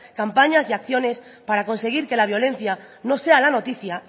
campañas y acciones para conseguir que la violencia no sea la noticia